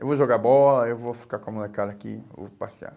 Eu vou jogar bola, eu vou ficar com a molecada aqui, eu vou passear.